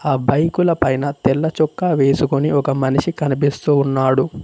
ఆ బైకుల పైన తెల్ల చొక్కా వేసుకొని ఒక మనిషి కనిపిస్తూ ఉన్నాడు.